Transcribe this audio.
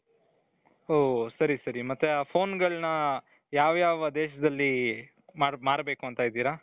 ಓ ಸರಿ ಸರಿ ಮತ್ತೆ ಆ ಫೋನ್ಗಳನ್ನ ಯಾವ ಯಾವ ದೇಶದಲ್ಲಿ ಮಾರಬೇಕು ಅಂತ ಇದ್ದೀರಾ.